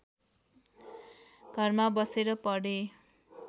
घरमा बसेर पढे